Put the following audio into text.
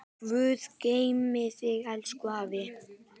Guð geymi þig, elsku afi.